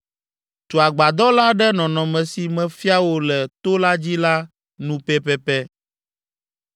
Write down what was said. Tu agbadɔ la ɖe nɔnɔme si mefia wò le to la dzi la nu pɛpɛpɛ.